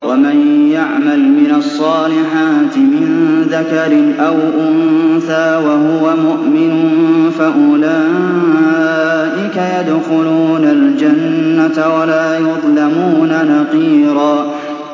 وَمَن يَعْمَلْ مِنَ الصَّالِحَاتِ مِن ذَكَرٍ أَوْ أُنثَىٰ وَهُوَ مُؤْمِنٌ فَأُولَٰئِكَ يَدْخُلُونَ الْجَنَّةَ وَلَا يُظْلَمُونَ نَقِيرًا